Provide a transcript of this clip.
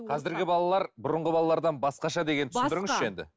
қазіргі балалар бұрынғы балалардан басқаша дегенді түсіндіріңізші енді